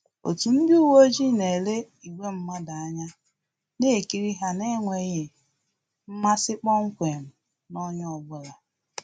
Otu ndị uweojii na-ele ìgwè mmadụ anya, na-ekiri ha n’enweghị mmasi kpọmkwem na onye ọ bụla